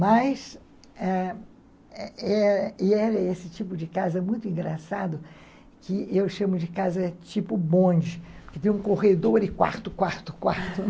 Mas era esse tipo de casa muito engraçado, que eu chamo de casa tipo bonde, que tem um corredor e quarto, quarto, quarto.